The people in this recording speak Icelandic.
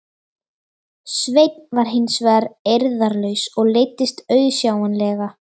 Sveinn var hins vegar eirðarlaus og leiddist auðsjáanlega.